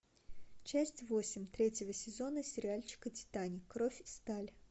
часть восемь третьего сезона сериальчика титаник кровь сталь